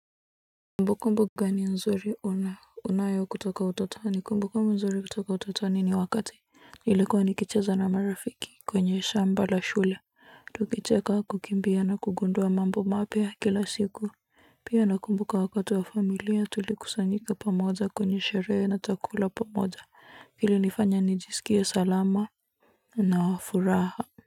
Kumbukumbu gani nzuri una unayo kutoka utotoni kumbukumbu nzuri kutoka utotoni ni wakati nilikuwa nikicheza na marafiki kwenye shamba la shule tukicheka kukimbia na kugundua mambo mapya kila siku pia nakumbuka wakati wa familia tulikusanyika pamoja kwenye sherehe na tukakula pamoja ilinifanya nijisikie salama na wa furaha.